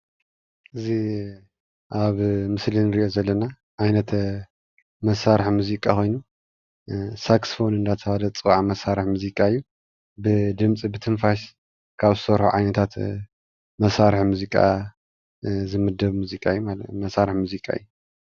እዚ ኣብ ምስሊ እንሪኦ ዘለና ዓይነት መሳርሒ ሙዚቃ ኮይኑ ሳክስፎን እንዳተባሃለ ዝፅዋዕ መሳርሒ ሙዚቃ እዩ፡፡ ብድምፂ ብትንፋስ ካብ ዝሰርሑ ዓይነታት መሳርሒ ሙዚቃ ዝምደብ ሙዚቃ እዩ መሳርሒ ሙዚቃ እዩ፡፡